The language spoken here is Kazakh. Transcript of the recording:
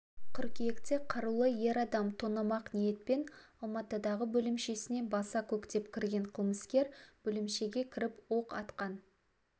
қыркүйекте қарулы ер адам тонамақ ниетпен алматыдағы бөлімшесіне баса көктеп кірген қылмыскер бөлімшеге кіріп оқ атқан